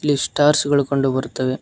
ಈ ಸ್ಟಾರ್ಸ ಗಳು ಕಂಡು ಬರ್ತವೆ.